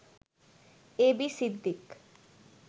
A B Siddique